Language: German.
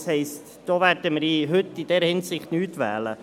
das heisst, in dieser Hinsicht werden wir heute nicht wählen.